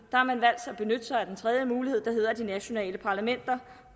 har man valgt at benytte sig af den tredje mulighed at de nationale parlamenter